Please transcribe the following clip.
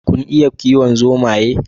Kun iya kiwon zomaye?